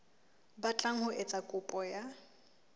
batlang ho etsa kopo ya